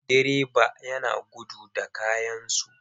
Direba ya gudu da kayansu.